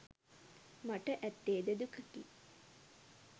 මට ඇත්තේද දුකකි.